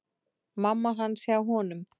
Mamma hans hjá honum.